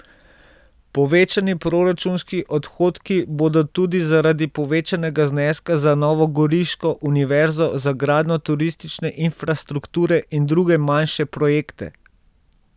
Povečani proračunski odhodki bodo tudi zaradi povečanega zneska za novogoriško univerzo, za gradnjo turistične infrastrukture in druge manjše projekte.